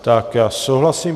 Tak já souhlasím.